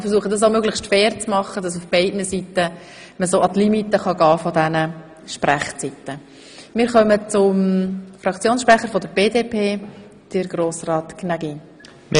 Ich versuche dies auch möglichst fair zu handhaben, sodass man von beiden Seiten möglichst bis an die Limite der Sprechzeit gehen kann.